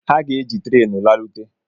Ha ga-ejị tréénù larụté